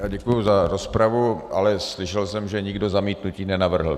Já děkuji za rozpravu, ale slyšel jsem, že nikdo zamítnutí nenavrhl.